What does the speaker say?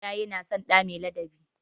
Iyaye na son ɗa mai ladabi.